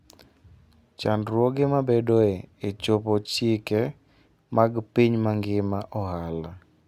Chandruoge mabedoe e chopo chike mag piny mangima ohala.